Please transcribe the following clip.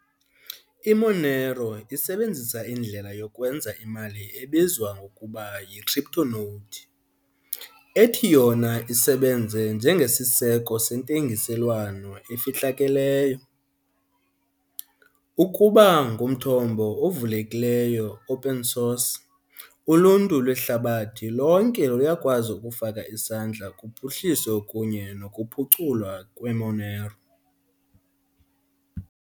IMonero isebenzisa indlela yokwenza imali ebizwa ngokuba yi-CryptoNote, ethi yona isebenze njengesiseko sentengiselwano efihlakeleyo. Ukuba ngumthombo ovulekileyo, open source, uluntu lwehlabathi lonke luyakwazi ukufaka isandla kuphuhliso kunye nokuphuculwa kweMonero.